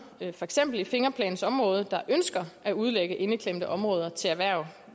for eksempel i fingerplansområdet der ønsker at udlægge indeklemte områder til erhverv